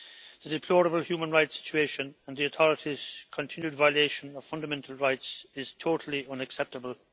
The deplorable human rights situation and the authorities' continued violation of fundamental rights are totally unacceptable.